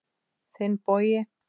Þinn, Bogi.